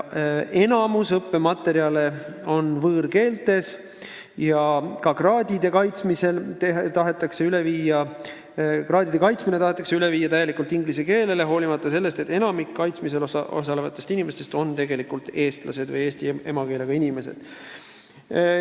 Enamik õppematerjale on võõrkeeles ja ka kraadide kaitsmine tahetakse üle viia täielikult inglise keelele, hoolimata sellest, et enamik kaitsmisel osalevatest inimestest on tegelikult eestlased või eesti emakeelega inimesed.